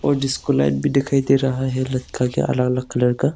और disco light भी दिखाई दे रहा है के अलग अलग कलर का।